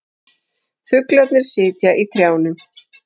Fuglarnir sitja í trjánum.